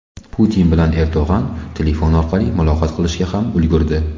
Putin bilan Erdo‘g‘on telefon orqali muloqot qilishga ham ulgurdi .